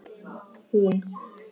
Hún leyfir engar syndir.